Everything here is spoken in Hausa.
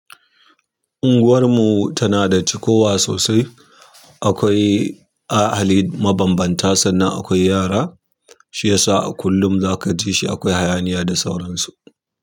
Unguwarmu tana da cikowa wa sosai. Akwai ahali mabambanta sannan akwai yara, shi yasa a kullum za ka ji shi akwai hayaniya da sauransu.